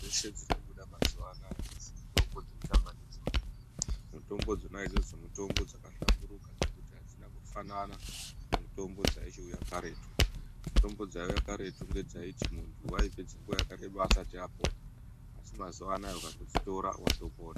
Mitombo dzese dzirikubuda mazuva anaya hadzisi mitombo dzekutamba ndidzoni. Mitombo dzona idzodzo mitombo dzakahlamburuka dzekuti hadzina kufanana nemutombo dzaichiuya karetu. Mitombo dzaiuya karetu ngedzaiti muntu vaipedza nguva yakareba asati apona. Asi mazuva anaya kudzitora vatopona.